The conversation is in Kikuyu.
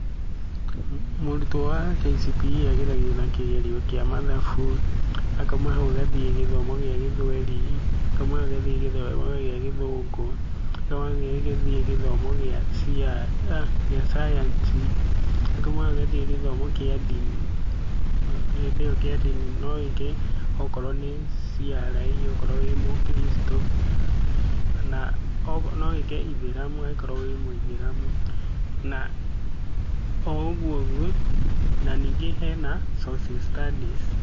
Mũrutwo wa KCPE ageragio na kĩgerio kĩa mathabu, akauma hau agathiĩ gĩthomo gĩa gĩthweri, akauma hau agathiĩ gĩthomo gĩa gĩthũngũ, akauma hau agathiĩ gĩthomo gĩa cayanci, akauma hau agathiĩ gĩthomo kĩa ndini na hĩndĩ iyo kĩa ndini no wĩke okorwo nĩ CRE, okorwo wĩ mũkiricitũ, kana no wĩke ithĩramu okorwo wĩ mũithĩramu. Na oũguo ũguo na ningĩ hena Social Studies.